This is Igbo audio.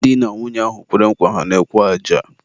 di na nwunye ahụ kwere nkwa ha n'ekwu aja.